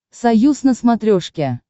союз на смотрешке